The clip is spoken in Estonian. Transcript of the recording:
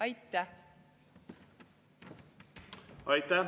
Aitäh!